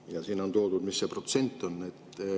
Ja siin on toodud, mis see protsent on.